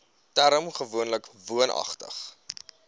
term gewoonlik woonagtig